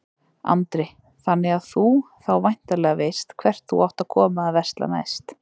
Andri: Þannig að þú þá væntanlega veist hvert þú átt að koma að versla næst?